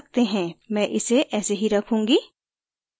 मैं इसे ऐसे ही रखूंगी